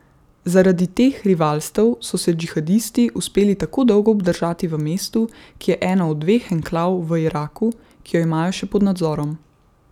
Zaradi teh rivalstev so se džihadisti uspeli tako dolgo obdržati v mestu, ki je ena od dveh enklav v Iraku, ki jo imajo še pod nadzorom.